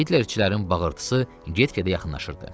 Hitlerçilərin bağırtısı get-gedə yaxınlaşırdı.